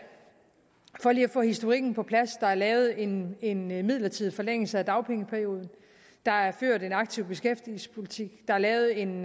få historikken på plads der er lavet en en midlertidig forlængelse af dagpengeperioden der er ført en aktiv beskæftigelsespolitik der er lavet en